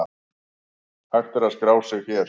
Hægt er að skrá sig hér.